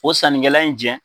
O sannikɛla in jɛn